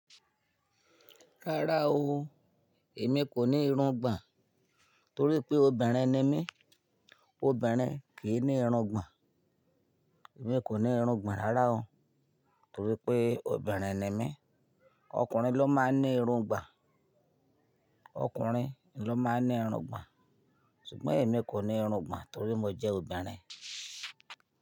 Rárá o, èmi kò ní ìrungbon, torí pé ọbinrin ni mí, ọbinrin kì í ní ìrungbon. Èmi kò ní ìrungbon rárá o torí pé ọbinrin ni mí. Ọkùnrin ló máa ń ní ìrònú gbà. Ọkùnrin ló máa ń ní ìrúngbon ṣùgbọ́n èmi kò ní ìrungbon, torí mó jẹ́ ọbinrin.